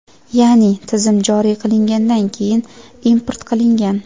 ya’ni Tizim joriy qilingandan keyin import qilingan.